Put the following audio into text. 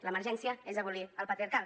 l’emergència és abolir el patriarcat